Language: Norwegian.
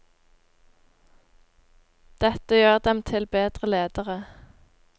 Dette gjør dem til bedre ledere.